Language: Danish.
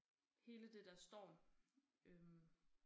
Hele det der står øh